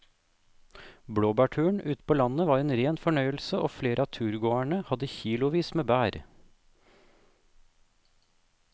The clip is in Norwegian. Blåbærturen ute på landet var en rein fornøyelse og flere av turgåerene hadde kilosvis med bær.